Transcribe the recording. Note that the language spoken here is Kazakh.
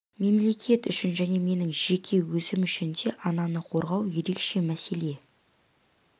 мемлекет үшін және менің жеке өзім үшін де ананы қорғау ерекше мәселе